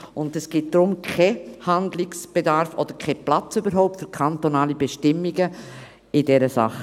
Darum gibt es keinen Handlungsbedarf und überhaupt keinen Platz für kantonale Bestimmungen in dieser Sache.